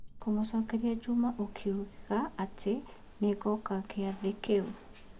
Kumũcokeria Juma ũkiuga atĩ nĩ ngoka kĩathi kĩu.